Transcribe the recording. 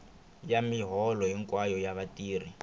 ya miholo hinkwayo ya vatirhi